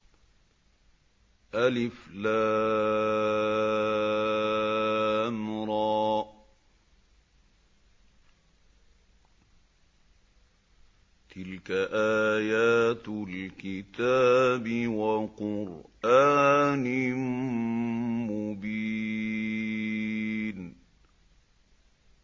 الر ۚ تِلْكَ آيَاتُ الْكِتَابِ وَقُرْآنٍ مُّبِينٍ